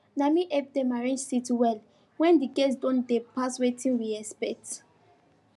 na me help them arrange seats well when the guests don dey pass wetin we expect